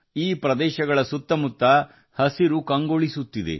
ಅದೇ ಸಮಯದಲ್ಲಿ ಅವರ ಸುತ್ತಲೂ ಹಸಿರು ಕೂಡ ಹೆಚ್ಚುತ್ತಿದೆ